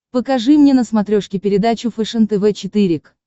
покажи мне на смотрешке передачу фэшен тв четыре к